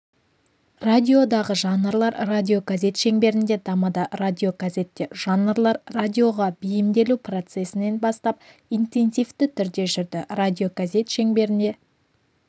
радиодағы жанрлар радиогазет шеңберінде дамыды радиогазетте жанрлар радиоға бейімделу процесін бастап интенсивті түрде жүрді радиогазет шеңберінде